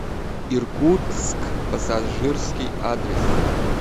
иркутск пассажирский адрес